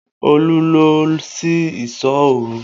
Olu lọ sí ìsọ́ òru